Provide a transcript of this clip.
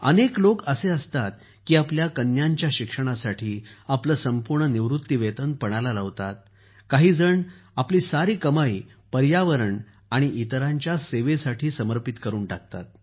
अनेक लोक असे असतात की आपल्या कन्यांच्या शिक्षणासाठी आपलं संपूर्ण निवृत्तीवेतन पणाला लावतात काही जण आपली सारी कमाई पर्यावरण आणि इतरांच्या जीव सेवेसाठी समर्पित करून टाकतात